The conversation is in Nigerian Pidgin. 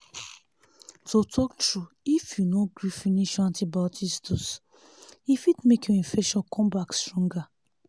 to talk trueif you no gree finish your antibiotics dose e fit make your infection come back stronger